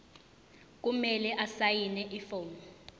kumele asayine ifomu